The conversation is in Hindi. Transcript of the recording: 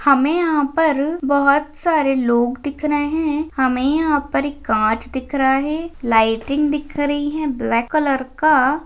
हमें यहाँ पर बहुत सारे लोग दिख रहे हैं हमें यहाँ पर एक कांच दिख रहा है लाइटिंग दिख रही है ब्लैक कलर का।